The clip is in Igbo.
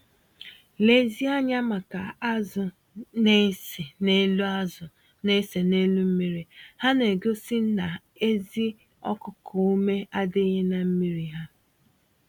Lezie anya maka azụ na-ese n'elu azụ na-ese n'elu mmiri - ha na-egosi na ezi okuku-ume adịghị na mmírí ha